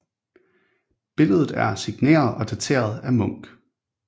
Billedet er signeret og dateret af Munch